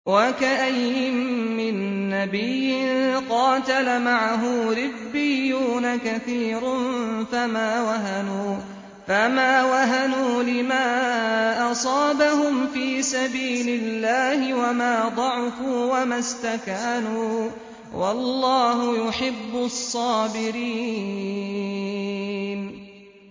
وَكَأَيِّن مِّن نَّبِيٍّ قَاتَلَ مَعَهُ رِبِّيُّونَ كَثِيرٌ فَمَا وَهَنُوا لِمَا أَصَابَهُمْ فِي سَبِيلِ اللَّهِ وَمَا ضَعُفُوا وَمَا اسْتَكَانُوا ۗ وَاللَّهُ يُحِبُّ الصَّابِرِينَ